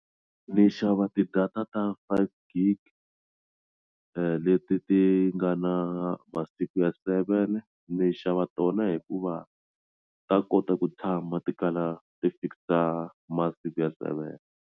Ni xava tidata ta five G_B leti ti nga na masiku ya seven ni xava tona hikuva ta kota ku tshama ti kala ti fikisa masiku ya seven.